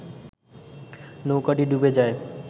নৌকাটি ডুবে যায়